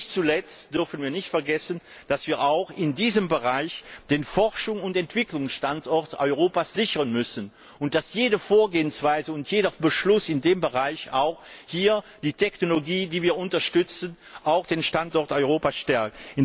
Und nicht zuletzt dürfen wir nicht vergessen, dass wir auch in diesem Bereich den Forschungs und Entwicklungsstandort Europa sichern müssen, und dass jede Vorgehensweise und jeder Beschluss in dem Bereich auch die Technologie, die wir unterstützen, und den Standort Europa stärkt.